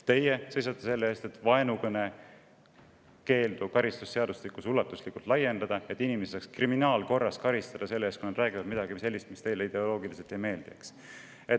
Teie seisate selle eest, et vaenukõne keeldu karistusseadustikus ulatuslikult laiendada, et inimesi saaks kriminaalkorras karistada selle eest, kui nad räägivad midagi sellist, mis teile ideoloogiliselt ei meeldi.